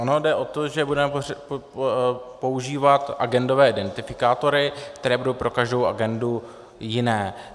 Ono jde o to, že budeme používat agendové identifikátory, které budou pro každou agendu jiné.